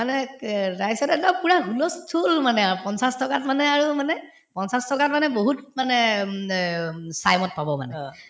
মানে ক একদম পূৰা হুলুহুল মানে আৰু পঞ্চাশ টকাত মানে আৰু মানে পঞ্চাশ টকাত মানে বহুত মানে উম অ উম পাব মানে